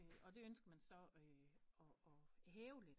Og det ønsker man så at hæve lidt